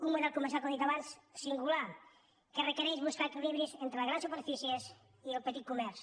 un model comercial com he dit abans singular que requereix buscar equilibris entre les grans superfícies i el petit comerç